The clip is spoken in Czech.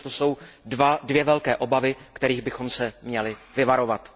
Myslím, že to jsou dvě velké obavy, kterých bychom se měli vyvarovat.